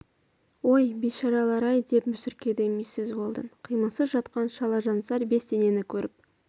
ой бейшаралар-ай деп мүсіркеді миссис уэлдон қимылсыз жатқан шалажансар бес денені көріп